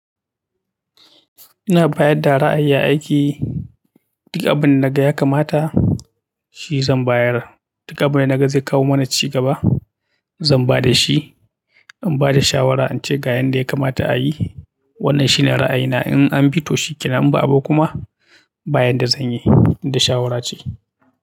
Ina bayar da ra'ayi a aiki. Duk abinda naga ya kamata shi zan bayar. Duka abin da na ga zai kawo mana cigaba, zan ba da shi. In ba da shawara, in ce ga yanda ya kamata a yi. Wannan shine ra'ayina in an bi to shikenan, in ba abi ba kuma bayan da zan yi, tunda shawara ce.